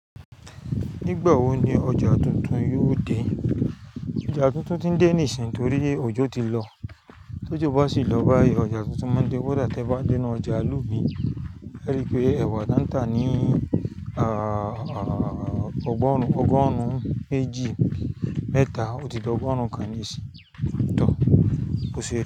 Nígbà wo ni ọjà tuntun yóò dé? Ọjà tuntun ti ń dé nísìnyí torí òjò ti lọ, tó ojo ba sì lọ báyìí. Ọjà tuntun máa ń dé. Kódà tẹẹ bá dé inú ojà ìlú mii, ẹ́ rí pé ẹwà dáńtà ní ọgbọn ọgọrun méjì, mẹ́ta, ó ti d'ọgọrùn kan níìsín. Tọ̀ bó se.